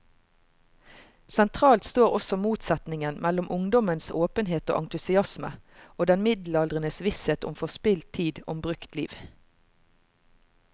Sentralt står også motsetningen mellom ungdommens åpenhet og entusiasme og den middelaldrendes visshet om forspilt tid, om brukt liv.